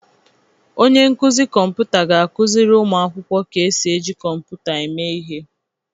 Onye nkuzi kọmputa ga-akụziri ụmụ akwụkwọ ka esi eji kọmputa eme ihe.